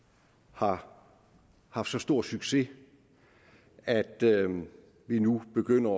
har haft så stor succes at vi nu begynder